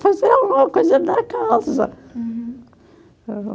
Fazia alguma coisa na casa.